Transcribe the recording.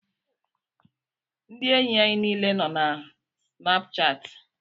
Ndị enyi anyị niile nọ na Snapuchati.